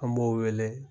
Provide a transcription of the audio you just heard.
An b'o wele